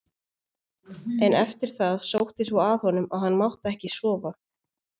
En eftir það sótti svo að honum að hann mátti ekki sofa.